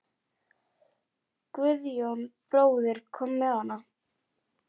Guðjón bróðir kom með hana.